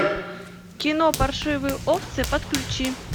кино паршивые овцы подключи